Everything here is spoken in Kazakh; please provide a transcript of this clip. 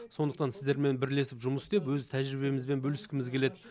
сондықтан сіздермен бірлесіп жұмыс істеп өз тәжірибемізбен бөліскіміз келеді